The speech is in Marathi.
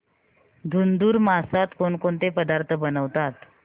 धुंधुर मासात कोणकोणते पदार्थ बनवतात